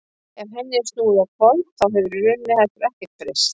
ef henni er snúið á hvolf þá hefur í raun heldur ekkert breyst